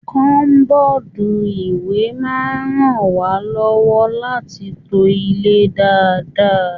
Kọbọ́dú ìwé máa n rán wà lọwọ láti to ilé dáadáa.